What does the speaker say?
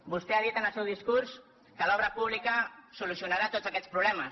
vostè ha dit en el seu discurs que l’obra pública solucionarà tots aquests problemes